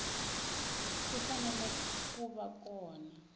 ti fanele ku va kona